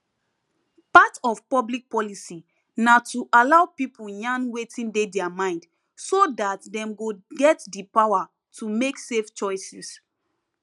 part of public policy na to allow people yarn wetin dey their mind so dat dem go get di power to make safe choices